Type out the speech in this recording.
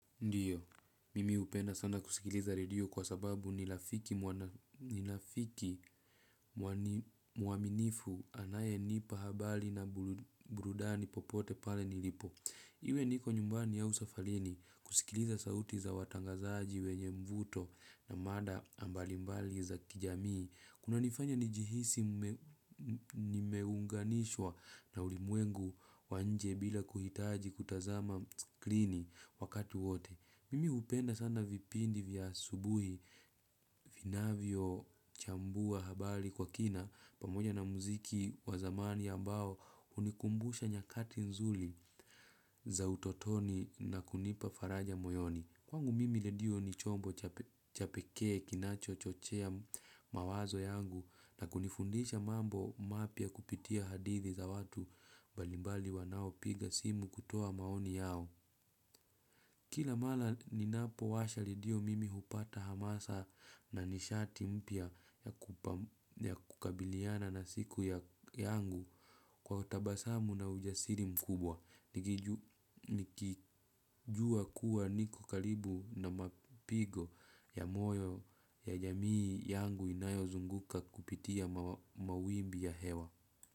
Ndiyo, mimi upenda sana kusikiliza redio kwa sababu nirafiki mwaminifu anaye nipa habari na burudani popote pale nilipo. Iwe niko nyumbani au safarini kusikiliza sauti za watangazaji wenye mvuto na mada mbalimbali za kijamii. Kunanifanya nijihisi nimeunganishwa na ulimwengu wa nje bila kuhitaji kutazama screeni wakati wote. Mimi upenda sana vipindi vya asubuhi vinavyo chambua habari kwa kina pamoja na muziki wazamani ambao hunikumbusha nyakati nzuri za utotoni na kunipa faraja moyoni. Kwangu mimi redio ni chombo cha peke kinacho chochea mawazo yangu na kunifundisha mambo mapya kupitia hadithi za watu mbalimbali wanao piga simu kutoa maoni yao. Kila mara ninapo washa redio mimi hupata hamasa na nishati mpya ya kukabiliana na siku ya yangu kwa utabasamu na ujasiri mkubwa. Nikijua kuwa niko karibu na mapigo ya moyo ya jamii yangu inayo zunguka kupitia mawimbi ya hewa.